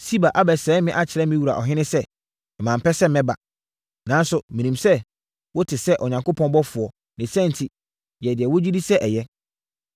Siba abɛsɛe me akyerɛ me wura ɔhene sɛ mampɛ sɛ meba. Nanso menim sɛ wote sɛ Onyankopɔn ɔbɔfoɔ; ne saa enti, yɛ deɛ wogye di sɛ ɛyɛ.